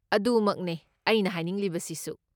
ꯑꯗꯨꯃꯛꯅꯦ ꯑꯩꯅ ꯍꯥꯏꯅꯤꯡꯂꯤꯕꯁꯤꯁꯨ꯫